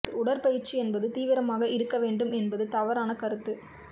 உடற்பயிற்சி என்பது தீவிரமாக இருக்க வேண்டும் என்பது தவறான கருத்து